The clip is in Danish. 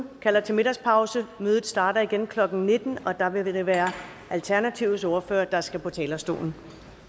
og kalder til middagspause mødet starter igen klokken nitten og der vil det være alternativets ordfører der skal på talerstolen